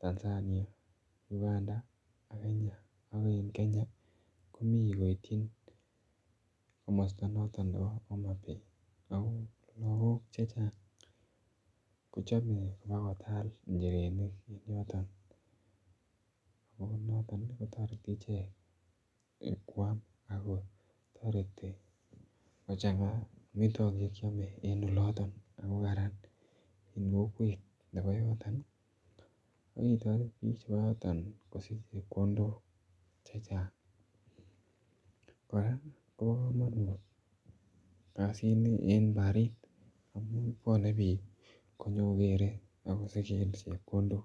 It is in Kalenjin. Tanzania, Uganda ak Kenya ak en Kenya komii koityin komosto noton nebo homabay ako logok chechang kochome bakotal ichirenik en yoton ako noton ko toreti ichek kwam ako toreti kochanga omitwokik che kyome en oloton ako Karan en kokwet nebo yoton, ko kitoret biik chebo yoton kosich chepkondok chechang koraa Kobo komonut kazini en barit amun bwone biik konyo kogere ak kosigen chepkondok